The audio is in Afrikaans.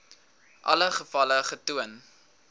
alle gevalle getoon